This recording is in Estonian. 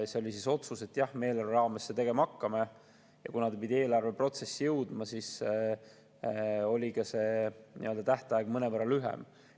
See oli otsus, et jah, me eelarve raames seda tegema hakkame, ja kuna ta pidi eelarveprotsessi jõudma, siis oli ka tähtaeg mõnevõrra lühem.